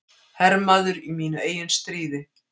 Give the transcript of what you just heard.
Hermaður í mínu eigin stríði.